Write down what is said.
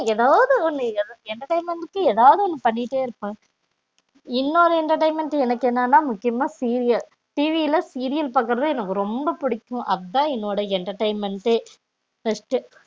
ஏதாவது ஒன்னு entertainment கு ஏதாவது ஒன்னு பண்ணிடே இருப்போம் இன்னொன்னு entertainment எனக்கு என்னன்னா முக்கியம்மா சீரியல் TV ல சீரியல் பாக்குறது எனக்கு ரொம்ப புடிக்கும் அதுதான் என்னோட entertainment டே first